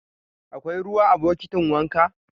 Akwai ruwa a bokitin wanka?